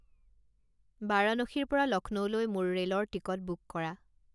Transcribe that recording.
বাৰাণসীৰ পৰা লক্ষ্ণৌলৈ মোৰ ৰে'লৰ টিকট বুক কৰা